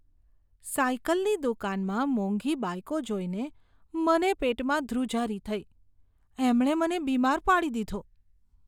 સાયકલની દુકાનમાં મોંઘી બાઇકો જોઈને મને પેટમાં ધ્રુજારી થઈ. એમણે મને બીમાર પાડી દીધો.